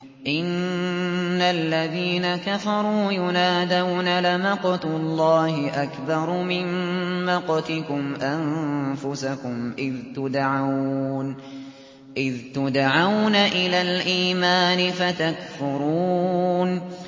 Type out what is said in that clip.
إِنَّ الَّذِينَ كَفَرُوا يُنَادَوْنَ لَمَقْتُ اللَّهِ أَكْبَرُ مِن مَّقْتِكُمْ أَنفُسَكُمْ إِذْ تُدْعَوْنَ إِلَى الْإِيمَانِ فَتَكْفُرُونَ